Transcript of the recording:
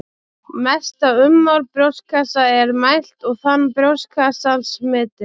Mesta ummál brjóstkassa er mælt og þan brjóstkassans metið.